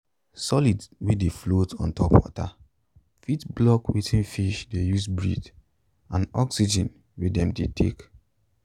solids wey dey float ontop water fit block wetin fish de use breathe and oxygen wey dem dey take